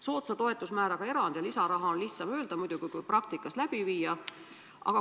Soodsa toetusmääraga eraldi lisarahast on muidugi lihtsam rääkida kui see praktikas saavutada.